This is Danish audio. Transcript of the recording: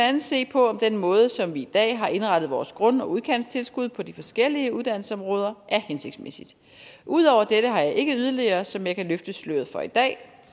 andet se på om den måde som vi i dag har indrettet vores grund og udkantstilskud på de forskellige uddannelsesområder er hensigtsmæssig ud over dette har jeg ikke yderligere som jeg kan løfte sløret for i dag